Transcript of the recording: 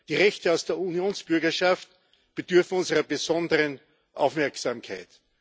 Die Rechte aus der Unionsbürgerschaft bedürfen unserer besonderen Aufmerksamkeit.